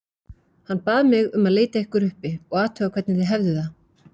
Hann bað mig um að leita ykkur uppi og athuga hvernig þið hefðuð það